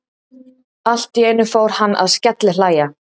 Allt í einu fór hann að skellihlæja.